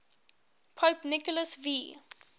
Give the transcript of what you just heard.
pope nicholas v